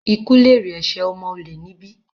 Ikú lèrè ẹ̀sẹ̀ ọmọ olè níbí!